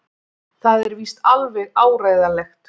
Það er víst alveg áreiðanlegt!